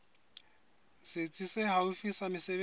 setsi se haufi sa mesebetsi